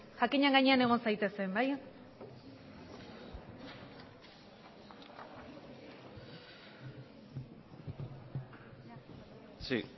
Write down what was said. jakinaren gainean egon zaitezen